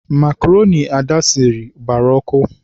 Makroni Ada siri, gbara ọkụ.